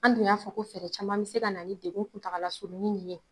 An dun y'a fɔ ko fɛɛrɛ caman be se ka na ni degun kuntaga surunni nin ye